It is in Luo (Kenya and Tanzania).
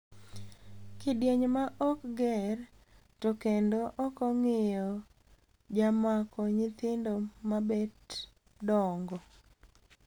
Kidieny maok ger to kendo okong`iyo jamako nyithindo mabet dongo.